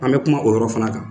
An bɛ kuma o yɔrɔ fana kan.